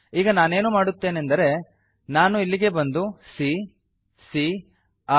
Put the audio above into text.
ಈಗ ನಾನೇನು ಮಾಡುತ್ತೇನೆಂದರೆ ನಾನು ಇಲ್ಲಿಗೆ ಬಂದು C ಸಿಎ ರ್